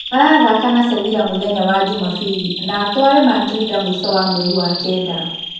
Marathaka na Sevila mũthenya wa Jumabiri na Atuare Mandrinda mũico wa mweri wa-kenda.